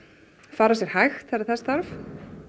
fara sér hægt þegar þess þarf